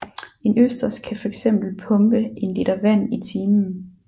En østers kan fx pumpe en liter vand i timen